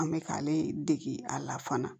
An bɛ k'ale dege a la fana